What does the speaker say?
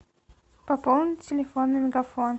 пополнить телефон мегафон